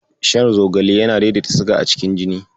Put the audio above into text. Shan Zogale yana daidaita siga a cikin jini.